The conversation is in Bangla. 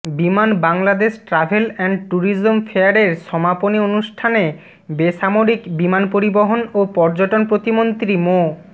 বিমান বাংলাদেশ ট্রাভেল অ্যান্ড ট্যুরিজম ফেয়ারের সমাপনী অনুষ্ঠানে বেসামরিক বিমান পরিবহন ও পর্যটন প্রতিমন্ত্রী মো